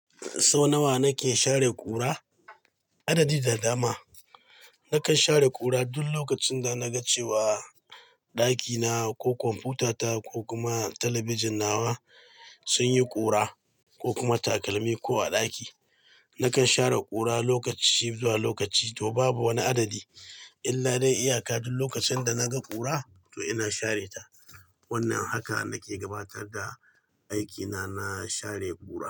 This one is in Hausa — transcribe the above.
Sau nawa nake share ƙura? Adadi da dama. Nakan share ƙura duk lokacin da na ga cewa ɗakina ko kwamfutata ko kuma talabijin nawa sun yi ƙura ko kuma takalmi ko a ɗaki. Nakan share ƙura lokaci zuwa lokaci to babu wani adadi, illa dai iyaka duk lokacin da na ga ƙura to ina share ta. Wannan haka nake gabatar da aikina na share ƙura.